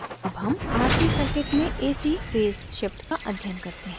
ac हम rc circuit में ac phase shift का अध्ययन करते हैं